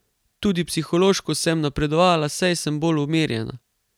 Tudi psihološko sem napredovala, saj sem bolj umirjena.